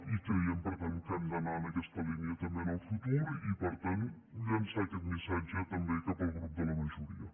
i creiem per tant que hem d’anar en aquesta línia també en el futur i per tant llançar aquest missatge també cap al grup de la majoria